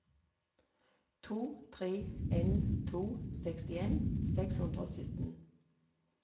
to tre en to sekstien seks hundre og sytten